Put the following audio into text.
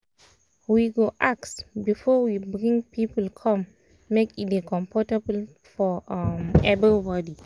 we go ask before we bring people come make e dey comfortable for um everybody.